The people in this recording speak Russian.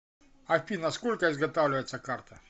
афина сколько изготавливается карта